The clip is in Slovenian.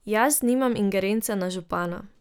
Jaz nimam ingerence na župana.